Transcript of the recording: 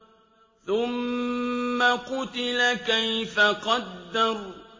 ثُمَّ قُتِلَ كَيْفَ قَدَّرَ